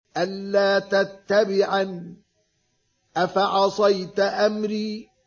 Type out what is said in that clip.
أَلَّا تَتَّبِعَنِ ۖ أَفَعَصَيْتَ أَمْرِي